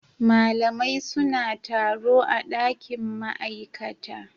Malamai suna taro a dakin ma'aikata